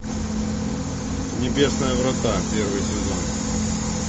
небесные врата первый сезон